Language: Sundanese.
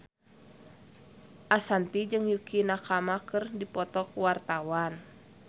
Ashanti jeung Yukie Nakama keur dipoto ku wartawan